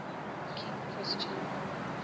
king christian